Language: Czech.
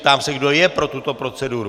Ptám se, kdo je pro tuto proceduru.